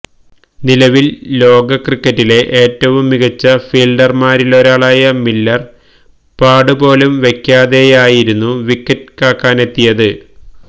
നിലവിൽ ലോക ക്രിക്കറ്റിലെ ഏറ്റവും മികച്ച ഫീൽഡർമാരിലൊരാളായ മില്ലർ പാഡ് പോലും വെക്കാതെയായിരുന്നു വിക്കറ്റ് കാക്കാനെത്തിയത്